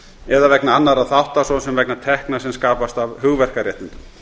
eða vegna annarra þátta svo sem vegna tekna sem skapast af hugverkaréttindum